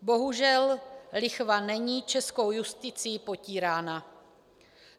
Bohužel lichva není českou justicí potírána.